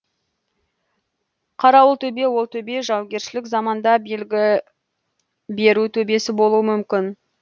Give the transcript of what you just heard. қарауылтөбе ол төбе жаугершілік заманда белгі беру төбесі болуы мүмкін